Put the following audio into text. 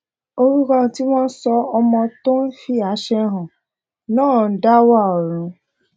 orúkọ tí wọn sọ ọmọ tó ń fi àṣà hàn náà ń da wa ọrun